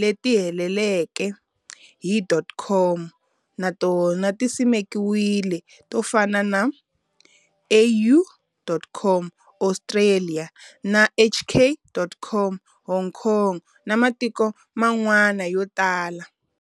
leti helelaka hi.COM na tona ti simekiwile to fana na AU.COM, Australia, na HK.COM, Hong Kong, na matiko man'wana yo tala.